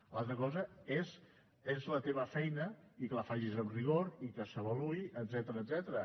l’altra cosa és la teva feina i que la facis amb rigor i que s’avaluï etcètera